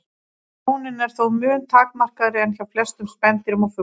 Sjónin er þó mun takmarkaðri en hjá flestum spendýrum og fuglum.